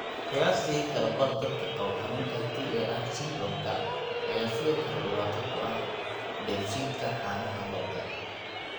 Qiyaastii kala badh dadka qaba xanuunka TAR syndrome-ka ayaa sidoo kale dhibaato ku ah dheefshiidka caanaha lo'da.